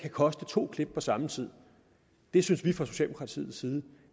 koste to klip på samme tid det synes vi fra socialdemokratiets side